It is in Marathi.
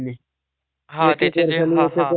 आता दहा टक्के आता भरण आहे म्हणे.